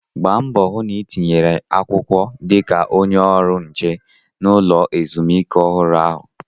Gba mbọ hụ na ị tinyere akwụkwọ dị ka onye ọrụ nche na ulọ ezumike ọhụrụ ahụ!